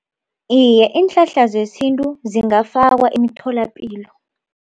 Iye, iinhlahla zesintu zingafakwa emtholapilo.